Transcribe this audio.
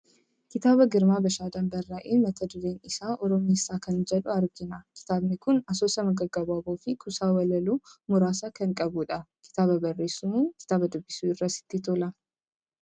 Kitaaba Girmaa Bashaadaan barraa'e, mata dureen isaa 'Oromeessaa" kan jedhu argina. Kitaabni kun asoosama gaggabaaboo fi kuusaa walaloo muraasa kan qabu dha. Kitaaba barreessuu moo kitaaba dubbisuutu irra sitti tola?